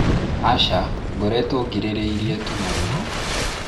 aca ngoretwo ngirĩrĩirie tu na ruo